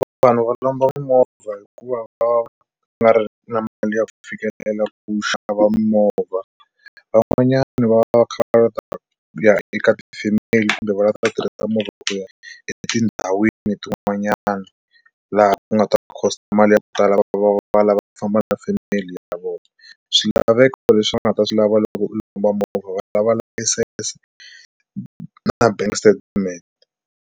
Vanhu va lomba mimovha hikuva va nga ri na mali ya ku fikelela ku xava mimovha van'wanyani va va kha va ya eka family kumbe va lava ku ta tirhisa movha ku ya etindhawini tin'wanyana laha u nga ta ku cost mali ya ku tala va lava ku famba na family ya vona swilaveko leswi va nga ta swi lava loko u lomba movha va lava license na bank statement.